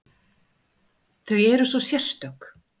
Þau eru svo sérstök.